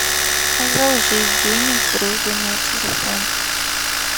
одолжить денег другу на телефон